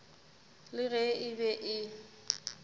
le ge e be e